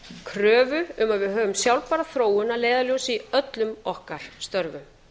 kröfu um að við höfum sjálfbæra þróun að leiðarljósi í öllum okkar störfum